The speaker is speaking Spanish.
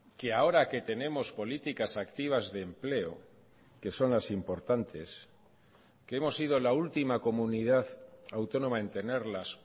que ahora que tenemos políticas activas de empleo que son las importantes que hemos sido la última comunidad autónoma en tenerlas